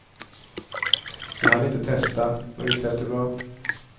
Vi hann inte testa, men visst lät det bra.